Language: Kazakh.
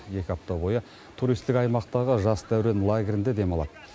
екі апта бойы туристік аймақтағы жас дәурен лагерінде демалады